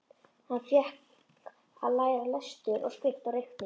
Hann fékk að læra lestur og skrift og reikning.